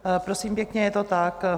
Prosím pěkně, je to tak.